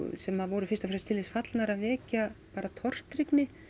sem voru fyrst og fremst til þess fallnar að vekja tortryggni